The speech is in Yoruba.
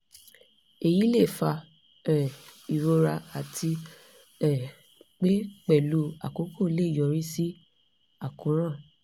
èyí lè fa um ìrora àti um pé pẹ̀lú àkókò lè yọrí sí àkóràn